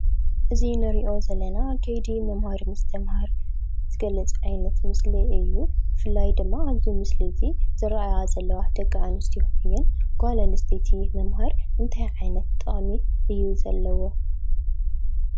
እዚ ንሪኦ ዘለና ከይዲ ምምሃር ምስትምሃር ዝገልፅ ዓይነት ምስሊ እዩ። ብፍላይ ድማ ኣብዚ ምስሊ እዚ ዝረአያ ዘለዋ ደቂ አንስትዮ እየን። ጓል አንስተይቲ ምምሃር እንታይ ዓይነት ጥቅሚ እዩ ዘለዎ?